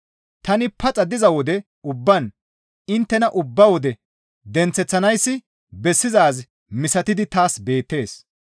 Tani paxa diza wode ubbaan inttena ubba wode denththeththanayssi bessizaaz misatidi taas beettees.